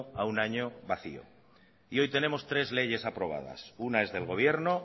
a un año vacío y hoy tenemos tres leyes aprobadas una es del gobierno